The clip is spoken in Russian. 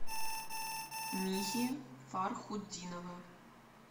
михи фархутдинова